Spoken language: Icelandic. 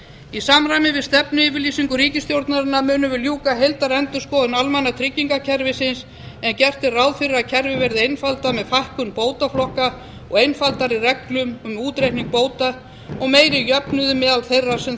í samræmi við stefnuyfirlýsingu ríkisstjórnarinnar munum við ljúka heildarendurskoðun almannatryggingakerfisins en gert er ráð fyrir að kerfið verði einfaldað með fækkun bótaflokka og einfaldari reglum um útreikning bóta og meiri jöfnuði meðal þeirra sem